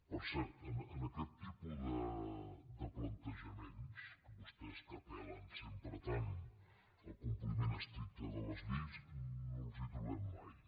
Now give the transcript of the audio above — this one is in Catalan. per cert en aquest tipus de plantejaments a vostès que apel·len sempre tant al compliment estricte de les lleis no els hi trobem mai